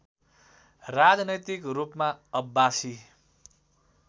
राजनैतिक रूपमा अब्बासी